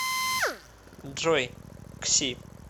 джой к си